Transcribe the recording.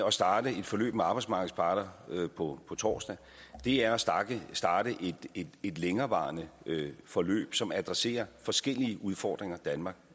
at starte et forløb med arbejdsmarkedets parter på torsdag er at starte et længerevarende forløb som adresserer de forskellige udfordringer danmark